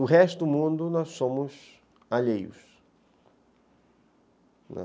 O resto do mundo nós somos alheios.